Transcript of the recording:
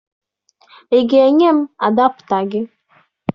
Ị ga-enye m adapụta gị?